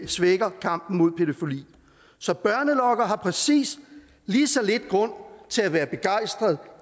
svækker kampen mod pædofili så børnelokkere har præcis lige så lidt grund til at være begejstrede